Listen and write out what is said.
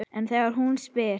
En þegar hún spyr